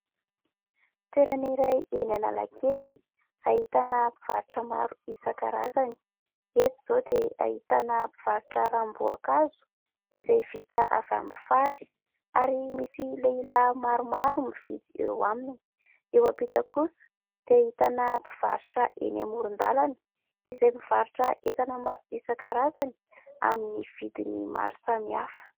Toerana iray eny Analakely ahitana mpivarotra maro isankarazany. Eto izao dia ahitana mpivarotra ranom-boankazo izay vita avy amin'ny fary, ary misy lehilahy maromaro mividy eo aminy; eo ampita kosa dia ahitana mpivarotra eny amoron-dalana, izay mivarotra entana maro isankarazany amin'ny vidiny maro samihafa.